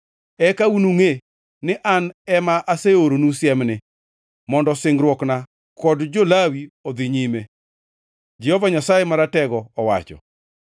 Eka unungʼe ni An ema aseoronu siemni mondo singruokna kod jo-Lawi odhi nyime,” Jehova Nyasaye Maratego owacho.